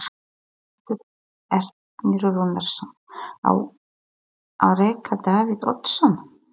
Sigmundur Ernir Rúnarsson: Á að reka Davíð Oddsson?